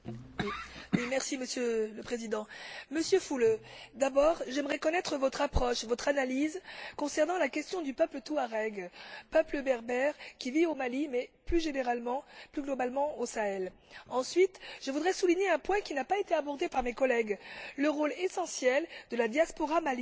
Monsieur le Président, Monsieur Füle, d'abord, j'aimerais connaître votre approche, votre analyse, concernant la question du peuple touareg, ce peuple berbère qui vit au Mali, mais plus généralement, plus globalement, au Sahel. Ensuite, je voudrais souligner un point qui n'a pas été abordé par mes collègues le rôle essentiel de la diaspora malienne en Europe.